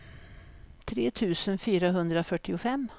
tre tusen fyrahundrafyrtiofem